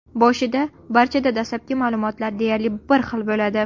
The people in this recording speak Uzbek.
Boshida barchada dastlabki ma’lumotlar deyarli bir xil bo‘ladi.